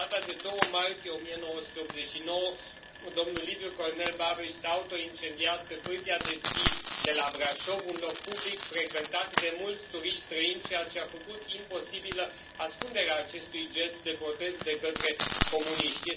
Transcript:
Pe data de 2 martie 1989, domnul Liviu Cornel Babeș s a autoincendiat pe pârtia de schi de la Brașov, un loc public, frecventat de mulți turiști străini, ceea ce a făcut imposibilă ascunderea acestui gest de protest de către comuniști.